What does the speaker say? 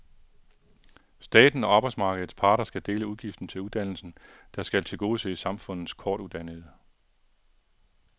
Staten og arbejdsmarkedets parter skal dele udgiften til uddannelsen, der skal tilgodese samfundets kortuddannede.